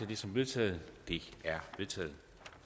det som vedtaget det er vedtaget